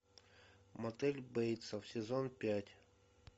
мотель бейтсов сезон пять